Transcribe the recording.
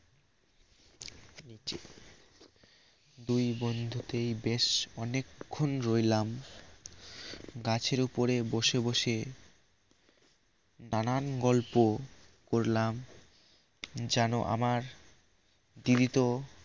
দুই বন্ধুতেই বেশ অনেকক্ষন রইলাম গাছের উপরে বসে বসে নানান গল্প করলাম যেনো আমার দিদি তো